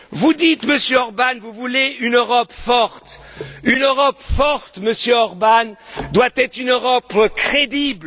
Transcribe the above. Vous dites, Monsieur Orbán, que vous voulez une Europe forte. Une Europe forte, Monsieur Orbán, doit être une Europe crédible.